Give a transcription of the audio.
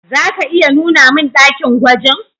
Za ka iya nuna mun dakin gwajin?